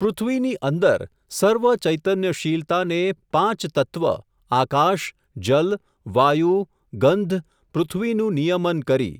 પૃથ્વીની અંદર સર્વ ચૈતન્યશીલતાને પાંચતત્વ આકાશ, જલ, વાયુ, ગંધ, પૃથ્વીનું નિયમન કરી.